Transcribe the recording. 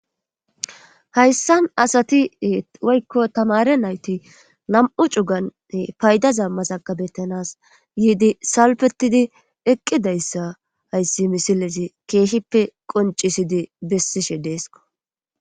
hayssan asati woykko tamare nayti nam7u cugane payda zammasakabettanas yiidi salpetidi eqqidayssa hayssi misilesi keehippe qoncisidi bessishe deesko